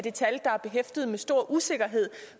et tal der er behæftet med stor usikkerhed